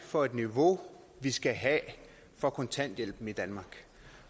for et niveau vi skal have for kontanthjælpen i danmark